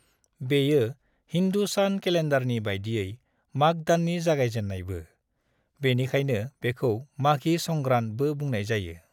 बेयो हिन्दु सान केलेन्डारनि बायदियै माघ दाननि जागायजेन्नायबो , बेनिखायनो बेखौ 'माघी संग्रांद' बो बुंनाय जायो।